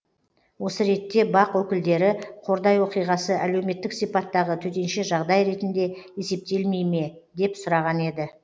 осы ретте бақ өкілдері қордай оқиғасы әлеуметтік сипаттағы төтенше жағдай ретінде есептелмей ме деп сұраған еді